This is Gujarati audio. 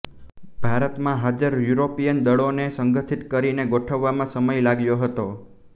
ભારતમાં હાજર યુરોપીયન દળોને સંગઠિત કરીને ગોઠવવામાં સમય લાગ્યો હતો